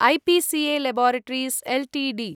IPCA laboratories Ltd